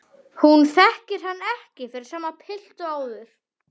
Hún þekkir hann ekki fyrir sama pilt og áður.